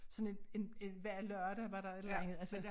Sådan et en en hver lørdag var der et eller andet altså